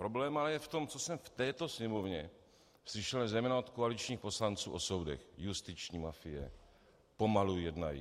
Problém ale je v tom, co jsem v této sněmovně slyšel zejména od koaličních poslanců o soudech: justiční mafie, pomalu jednají.